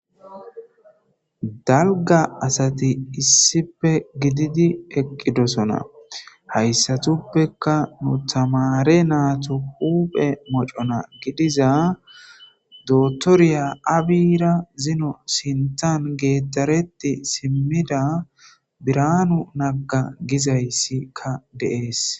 Dalgga asathi issippe gididi eqqidosona; hayssathuppekka nu thamaare naathu huuphe mocona gidiza doththoriya abiyiira zino siththan geeddareththe simmida birhaanu nagga gizayssikka de7ees.